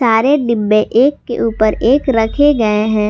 सारे डिब्बे एक के ऊपर एक रखे गए हैं।